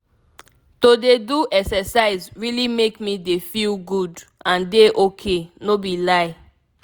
to dey do exercise really make me dey feel good and dey ok no be lie.